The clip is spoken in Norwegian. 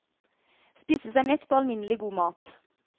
Spise seg mett på alminnelig god mat.